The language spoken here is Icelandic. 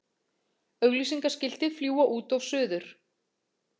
Auglýsingaskilti fljúga út og suður